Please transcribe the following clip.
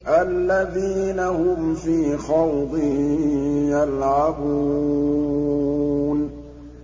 الَّذِينَ هُمْ فِي خَوْضٍ يَلْعَبُونَ